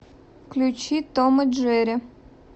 включи том и джерри